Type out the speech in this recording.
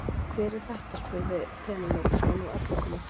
Hver er þetta spurði Penélope sem var nú öll að koma til.